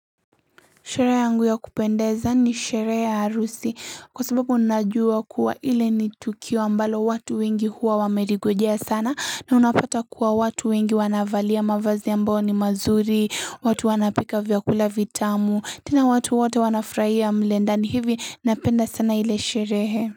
Sherehe yangu ya kupendeza ni sherehe ya harusi. Kwa sababu unajua kuwa ile ni tukio ambalo watu wengi huwa wameligojea sana na unapata kuwa watu wengi wanavalia mavazi ambao ni mazuri, watu wanapika vyakula vitamu, tena watu wote wanafurahia mle ndani hivi napenda sana ile sherehe.